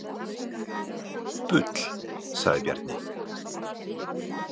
Bull, sagði Bjarni.